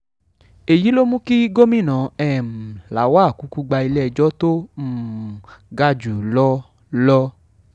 èyí ló mú kí gómìnà um lawal kúkú gba ilé-ẹjọ́ tó um ga jù lọ lọ